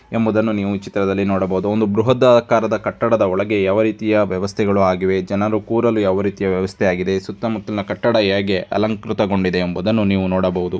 ಎಂಬುದನ್ನು ನೀವು ಚಿತ್ರದಲ್ಲಿ ನೋಡಬಹುದು ಒಂದು ಬೃಹತ್ ಆಕಾರದ ಕಟ್ಟಡದ ಒಳಗೆ ಯಾವ ರೀತಿಯ ವ್ಯವಸ್ಥೆಗಳು ಆಗಿವೆ ಜನರು ಕೂರಲು ಯಾವ ರೀತಿ ವ್ಯವಸ್ಥೆಯಾಗಿದೆ ಸುತ್ತ ಮುತ್ತಲಿನ ಕಟ್ಟಡ ಹೇಗೆ ಅಲಂಕೃತಗೊಂಡಿದೆ. ಎಂಬುದನ್ನು ನೀವು ನೋಡಬಹುದು.